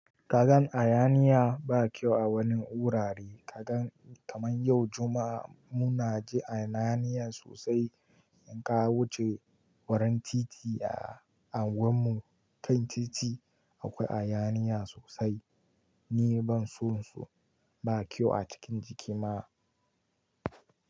Kagan hayaniya ba kyau a wani wurare. Kagan kaman yau Juma'a muna ji hayaniya sosai. In ka wuce wurin titi a unguwan mu, kan titi akwai hayaniya sosai. Ni ban so su, ba kyau a cikin jiki ma.